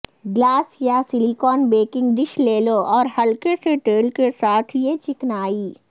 glass یا silicone baking dish لے لو اور ہلکے سے تیل کے ساتھ یہ چکنائی